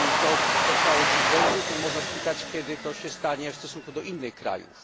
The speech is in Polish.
Jeśli to spotkało dziś Węgry, to można spytać, kiedy to się stanie w stosunku do innych krajów.